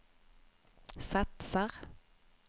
satsar